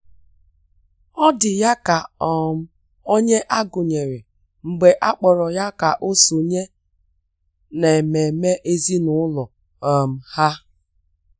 Ọ́ dị̀ ya kà um onye a gụ́nyéré mgbe a kpọ̀rọ́ ya kà ọ́ sònyé n’ememe ezinụlọ um ha.